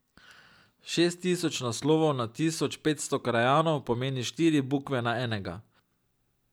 Šest tisoč naslovov na tisoč petsto krajanov pomeni štiri bukve na enega.